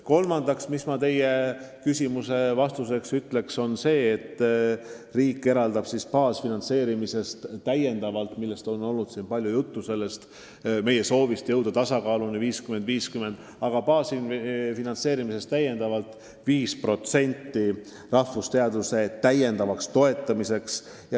Kolmandaks ütlen teie küsimusele vastuseks seda, et meil on siin olnud palju juttu meie soovist jõuda finantseeringute osas tasakaaluni 50 : 50, aga praegu eraldab riik baasfinantseeringutest täiendavalt 5% rahvusteaduste toetamiseks.